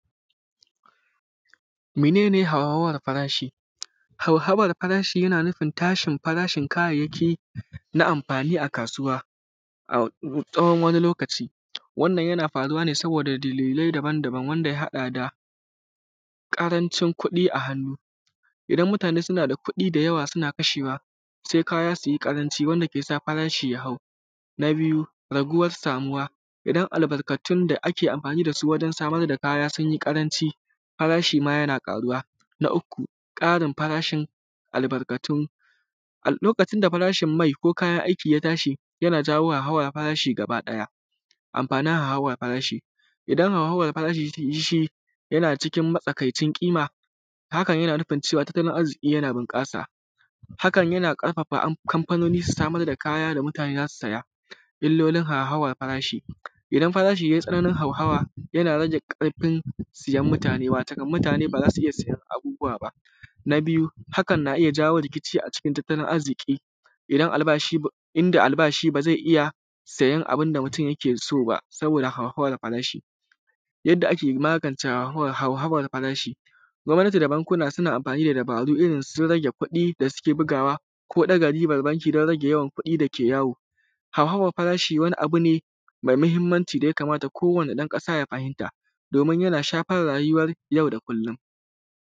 mene ne hauhawan farashi hauhawan farashi yana nufin tashin farashin kayayyaki na amfani a kasuwa a tsawon lokaci wannan yana faruwa ne saboda dalilai daban daban wanda ya hada da karancin kudi a hannu idan mutane sunada kudi da yawa suna kasha kahshewa sai kaya sui karanci wanda kesa kaya su hau na biyu raguwan samuwa idan albarkatun da ake amfani dasu wajen samar da kaya sunyi karanci farashi ma yana karuwa na uku Karin farashin albarkatu a lokacin da farashin mai ko kayan aiki ya tashi ya tashi yana jawo hauhawan farashi gaba daya amfanin hauhawan farashi idan hauhawan farashi yana cikin matsakaicin kima hakan yana nufin cewa tattalin arziki yana bunkasa hakan yana karfafa kamfanoni su samar da kaya da mutane zasu saya illolin hauhawan farashi idan farashi yayi ya hau da yawa yana rage karfin sayen mutane watakon mutane ba zasu iyya sayen abubuwa ba na biyu hakan na iyya jawo rikici a cikin tattalin arziki inda albashi bazai iyya sayen abunda mutun yake soba saboda hauhawan farashi yadda ake magance hauhawan farashi gwamnati da bankuna suna amfani da dabaru irrin su rage yawan kudi da suke bugawa ko daga riba riban banki dan rage yawan kudi dake yawo hauhawan farashi wani abune mai mahimmanci da yakamata ko wani dan kasa ya fahimta domin yana shafar rayuwan yau da kullum